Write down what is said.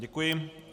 Děkuji.